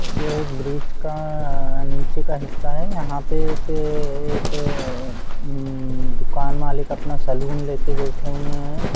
ये एक ब्रिज -का-- नीचे का हिस्सा है यहाँ पे एक एक -उम दुकान मालिक अपना सलून लेके बैठे हुए है।